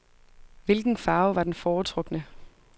Hvilken farve var den foretrukne.